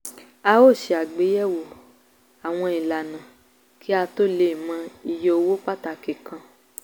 a ó ṣe àgbéyẹ̀wò àwọn ìlànà kí a tó lè mọ iye owó pàtàkì kan.